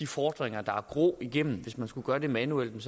fordringer igennem hvis man skulle gøre det manuelt ville